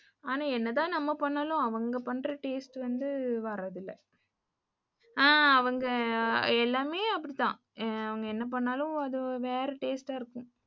ஆனா என்னதான் நம்ம பண்ணாலும் அவங்க பண்ற taste வந்து வரதில்ல. அ அவங்க எல்லாமே அப்படி தான். அவங்க என்ன பண்ணாலும் வேற taste ஆ இருக்கும்.